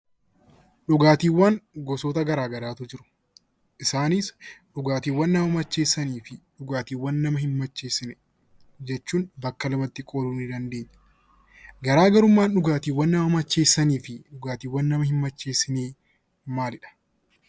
Dhugaatiiwwan gosoota garaa garaatu jiru. Isaanis dhugaatiiwwan nama macheessanii fi dhugaatiiwwan nama hin macheessine jechuuun bakka lamatti qooduu ni dandeenya. Garaagarummaan dhugaatiiwwan nama macheessanii fi dhugaatiiwwan nama hin macheessinee maalidha?